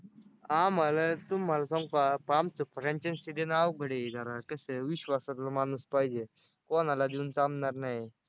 आम्हाला तुम्हाला सांगू का आमचं franchise देणं अवघड आहे. ते जरा कसं आहे विश्वासातलं माणूस पाहिजे. कोणाला देऊन चालणार नाही.